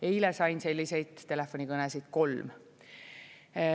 Eile sain selliseid telefonikõnesid kolm.